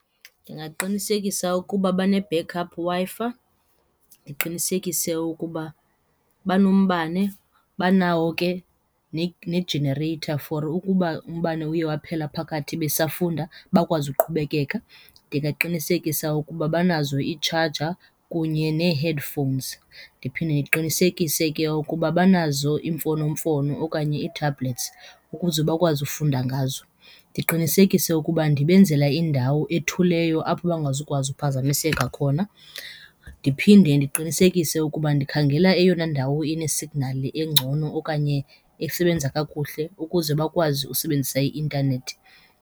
Ndingaqinisekisa ukuba bane-back up Wi-Fi, ndiqinisekise ukuba banombame, banawo ke nejenereyitha for ukuba umbane uye waphela phakathi besafunda bakwazi uqhubekeka. Ndingaqinisekisa ukuba banazo iitshaja kunye nee-headphones, ndiphinde ndiqinisekise ke ukuba banazo iimfonomfono okanye ii-tablets ukuze bakwazi ufunda ngazo. Ndiqinisekise ukuba ndibenzela indawo ethuleyo apho bangazukwazi uphazamiseka khona. Ndiphinde ndiqinisekise ukuba ndikhangela eyona ndawo inesignali engcono okanye esebenza kakuhle ukuze bakwazi usebenzisa i-intanethi.